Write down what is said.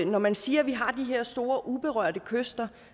når man siger at vi har de her store uberørte kyster